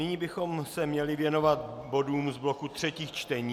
Nyní bychom se měli věnovat bodům z bloku třetích čtení.